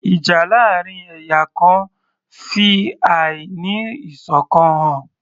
Ìjà láàrin ẹ̀yà kan fi àí ní ìṣọ̀kan hàn